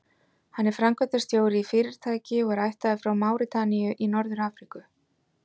Hann er framkvæmdastjóri í fyrirtæki og er ættaður frá Máritaníu í Norður-Afríku.